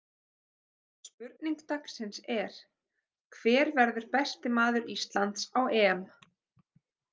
Spurning dagsins er: Hver verður besti maður Íslands á EM?